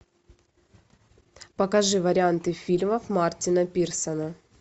покажи варианты фильмов мартина пирсона